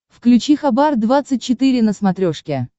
включи хабар двадцать четыре на смотрешке